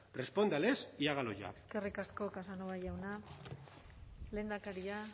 respóndales y hágalo ya eskerrik asko casanova jauna lehendakaria